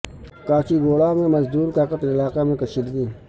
کاچیگوڑہ میں مزدور کا قتل علاقہ میں کشیدگی